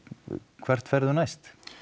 hvert ferðu næst